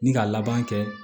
Ni ka laban kɛ